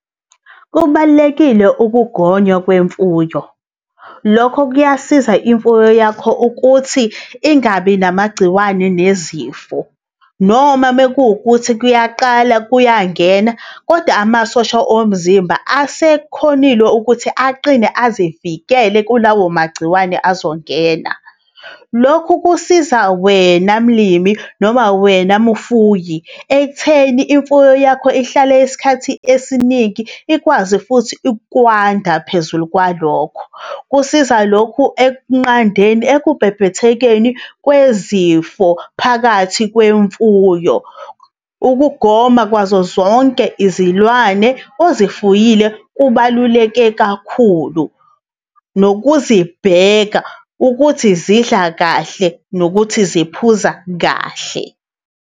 Kubalulekile ukugonywa kwemfuyo. Lokho kuyasiza imfuyo yakho ukuthi ingabi namagciwane nezifo. Noma mekukuthi kuyaqala kuyangena kodwa amasosha omzimba asekhonile ukuthi aqine azivikele kulawo magciwane azongena. Lokhu kusiza wena mlimi, noma wena mfuyi ekutheni imfuyo yakho ihlale isikhathi esiningi, ikwazi futhi ukwanda phezulu kwalokho, kusiza lokhu ekunqandeni ekubhebhethekeni kwezifo phakathi kwemfuyo. Ukugoma kwazozonke izilwane ozifuyile kubaluleke kakhulu nokuzibheka ukuthi zidla kahle nokuthi ziphuza kahle.